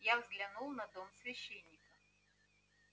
я взглянул на дом священника